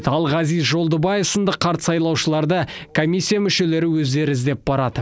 ал ғазиз жолдыбаев сынды қарт сайлаушыларды комиссия мүшелері өздері іздеп барады